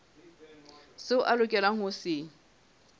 seo a lokelang ho se